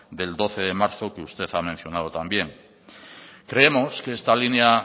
del doce de marzo que usted ha mencionado también creemos que esta línea